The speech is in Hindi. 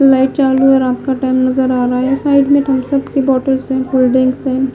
लाइट चालू है रात का टाइम नजर आ रहा है साइड में थम्सअप की बॉटलस है कोल्ड ड्रिंक्स है।